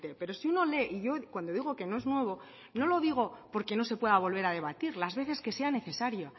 pero si uno lee y yo cuando digo que no es nuevo no lo digo porque no se pueda volver a debatir las veces que sea necesario